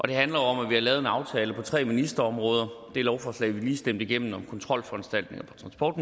det handler om at vi har lavet en aftale på tre ministerområder det lovforslag vi lige stemte igennem om kontrolforanstaltninger på transport